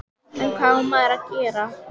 En hvað á maður að gera?